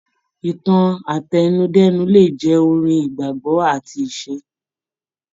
Ìtàn àtẹnudẹ́nu le jẹ́ orin, ìgbàgbọ́ àti ìṣe.